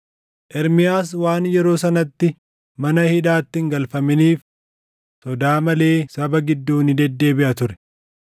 Ermiyaas waan yeroo sanatti mana hidhaatti hin galfaminiif sodaa malee saba gidduu ni deddeebiʼa ture.